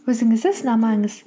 өзіңізді сынамаңыз